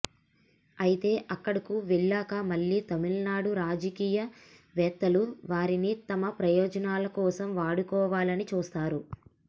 అయితే అక్కడకు వెళ్లాక మళ్లీ తమిళనాడు రాజకీయవేత్తలు వారిని తమ ప్రయోజనాల కోసం వాడుకోవాలని చూస్తారు